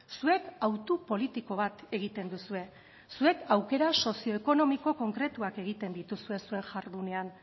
zuek hautu politiko bat egiten duzue zuek aukera sozioekonomiko konkretuak egiten dituzue zuen jardunean